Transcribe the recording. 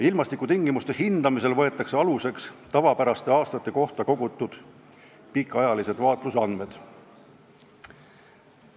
Ilmastikutingimuste hindamisel võetakse aluseks tavapäraste aastate kohta kogutud pikaajalised vaatlusandmed.